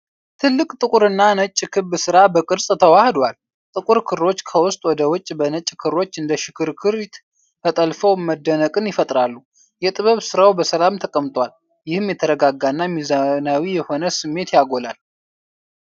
ትልቅ ጥቁርና ነጭ ክብ ስራ በቅርጽ ተዋህዷል። ጥቁር ክሮች ከውስጥ ወደ ውጪ በነጭ ክሮች እንደ ሽክርክሪት ተጠልፈው መደነቅን ይፈጥራሉ። የጥበብ ስራው በሰላም ተቀምጧል፣ ይህም የተረጋጋና ሚዛናዊ የሆነ ስሜት ያጎላል።